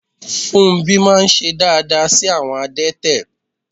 Fúnmbí máà ń ṣe dááda sí àwọn adẹ́tẹ̀